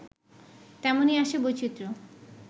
তেমনই আসে বৈচিত্র্য